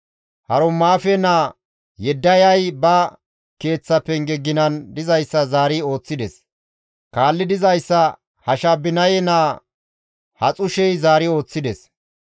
Harumaafe naa Yedayay ba keeththa penge ginan dizayssa zaari ooththides; kaalli dizayssa Hashabinaye naa Haxushey zaari ooththides.